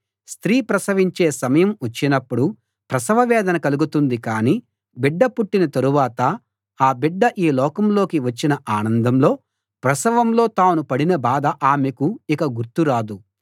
స్త్రీ ప్రసవించే సమయం వచ్చినప్పుడు ప్రసవ వేదన కలుగుతుంది కాని బిడ్డ పుట్టిన తరువాత ఆ బిడ్డ ఈ లోకం లోకి వచ్చిన ఆనందంలో ప్రసవంలో తాను పడిన బాధ ఆమెకు ఇక గుర్తు రాదు